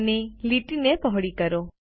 અમે લીટીને પહોળી કરી છે